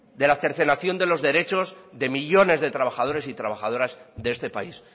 de la cercenación de los derechos de millónes de trabajadores y trabajadoras de este país